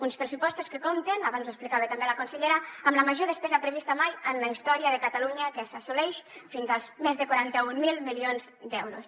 uns pressupostos que compten abans ho explicava també la consellera amb la major despesa prevista mai en la història de catalunya que s’assoleix fins als més de quaranta mil milions d’euros